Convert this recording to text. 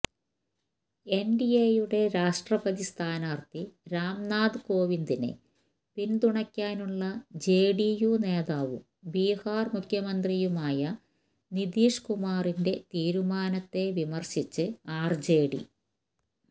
എൻഡിഎയുടെ രാഷ്ട്രപതി സ്ഥാനാർത്ഥി രാംനാഥ് കോവിന്ദിനെ പിന്തുണയ്ക്കാനുള്ള ജെഡിയു നേതാവും ബിഹാർ മുഖ്യമന്ത്രിയുമായ നിതിഷ് കുമാറിന്റെ തീരുമാനത്തെ വിമർശിച്ച് ആർജെഡി